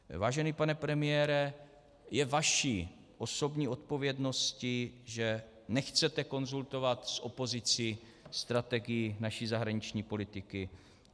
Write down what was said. Vážený pane premiére, je vaší osobní odpovědností, že nechcete konzultovat s opozicí strategii naší zahraniční politiky.